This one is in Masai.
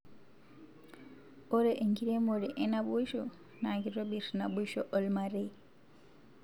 ore enkiremore enaboisho na kitobir naboisho olmarei